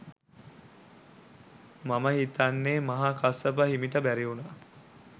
මම හිතන්නෙ මහා කස්සප හිමිට බැරිවුනා